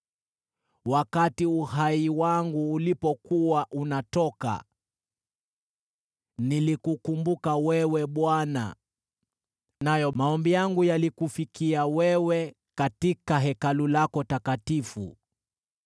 “Wakati uhai wangu ulipokuwa unatoka, nilikukumbuka wewe, Bwana , nayo maombi yangu yalikufikia wewe, katika Hekalu lako takatifu.